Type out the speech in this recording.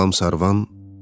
Salam Sarvan,